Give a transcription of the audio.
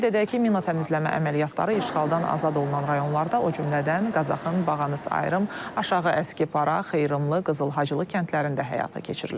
Qeyd edək ki, mina təmizləmə əməliyyatları işğaldan azad olunan rayonlarda, o cümlədən Qazaxın Bağanıs Ayrım, Aşağı Əskipara, Xeyrımlı, Qızılhacılı kəndlərində həyata keçirilib.